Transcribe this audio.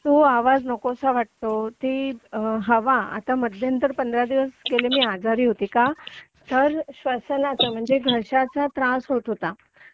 तो आवाज नकोसा वाटतो ती हवा आता मध्यंतरी पंधरा दिवस पूर्वी मी आजारी होते का तर श्वसनाचा म्हणजे घशाचा त्रास होत होता